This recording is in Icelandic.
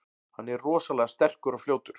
Hann er rosalega sterkur og fljótur.